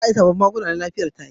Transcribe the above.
Za a yi sabon magani